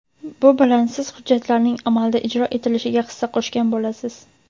Bu bilan siz hujjatlarning amalda ijro etilishiga hissa qo‘shgan bo‘lasiz.